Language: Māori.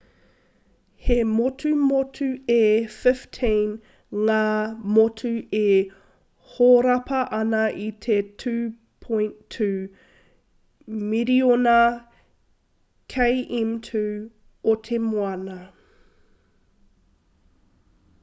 he motumotu e 15 ngā motu e horapa ana i te 2.2 miriona km2 o te moana